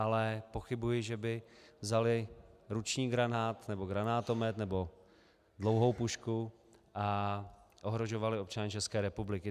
Ale pochybuji, že by vzali ruční granát nebo granátomet nebo dlouhou pušku a ohrožovali občany České republiky.